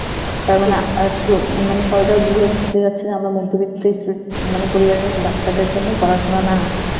তার মানে অ্যাঁ পোর~ মানে সরকার বুঝাতে যাচ্ছে আমরা মধ্যবিত্ত stu~ মানে পরিবারের বাচ্চাদের জন্য পড়াশোনা না,